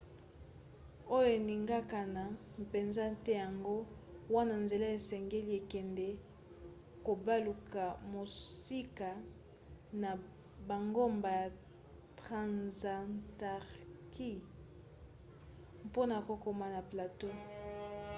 oyo eninganaka mpenza te yango wana nzela esengeli ekende kobaluka mosika na bangomba ya transantarcti mpona kokoma na plateau